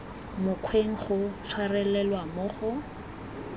mokgweng go tshwarelelwa mo go